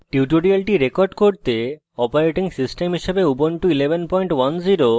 tutorial record করতে operating system হিসাবে ubuntu 1110